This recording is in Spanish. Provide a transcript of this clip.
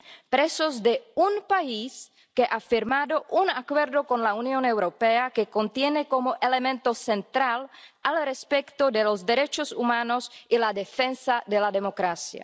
presos de un país que ha firmado un Acuerdo con la Unión Europea que contiene como elemento central el respeto de los derechos humanos y la defensa de la democracia.